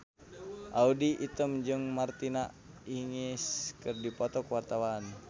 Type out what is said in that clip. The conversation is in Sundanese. Audy Item jeung Martina Hingis keur dipoto ku wartawan